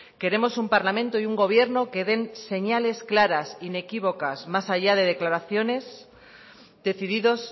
queremos un parlamento y un gobierno que den señales claras inequívocas más allá de declaraciones decididos